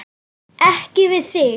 Ekki við þig.